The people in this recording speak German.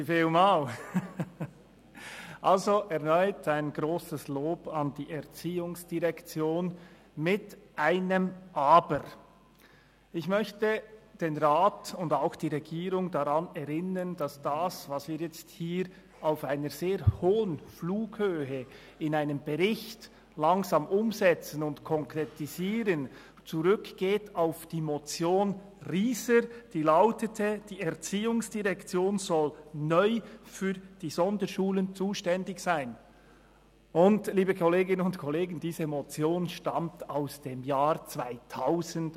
Erneut ein grosses Lob an die ERZ, mit einem Aber: Ich möchte den Rat und auch die Regierung daran erinnern, dass das, was wir jetzt hier auf einer sehr hohen Flughöhe in einem Bericht langsam umsetzen und konkretisieren, auf die Motion Ryser zurückgeht, die lautete: «Die Erziehungsdirektion soll neu für die Sonderschulen zuständig sein» Liebe Kolleginnen und Kollegen, diese Motion stammt aus dem Jahr 2007!